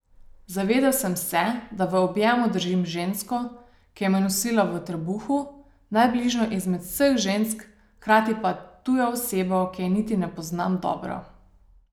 Zavedel sem se, da v objemu držim žensko, ki me je nosila v trebuhu, najbližjo izmed vseh žensk, hkrati pa tujo osebo, ki je niti ne poznam dobro.